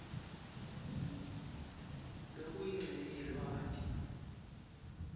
lokuyincenye lwati